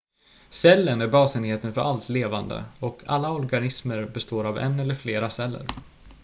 cellen är basenheten för allt levande och alla organismer består av en eller flera celler